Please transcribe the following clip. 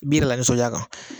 I b'i yɛrɛ lanisɔnja kan